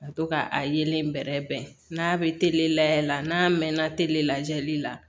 Ka to ka a yeelen bɛrɛ bɛn n'a bɛ layɛ la n'a mɛnna tele lajɛli la